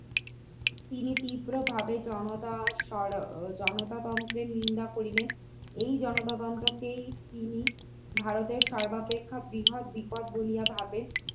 তিনি তীব্রভাবে জনতার জনতা তন্ত্রে নিন্দা করিলেন এই জনতা তন্ত্র কেই তিনি ভারতের সর্বাপেক্ষা বৃহৎ বিপদ বলিয়া ভাবেন